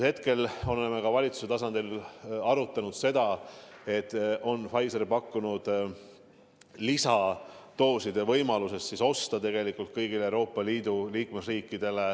Me oleme ka valitsuse tasandil arutanud seda, et on Pfizer on pakkunud lisadooside ostmise võimalust tegelikult kõigile Euroopa Liidu liikmesriikidele.